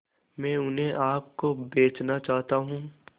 मैं उन्हें आप को बेचना चाहता हूं